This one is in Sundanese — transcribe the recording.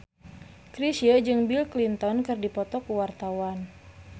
Chrisye jeung Bill Clinton keur dipoto ku wartawan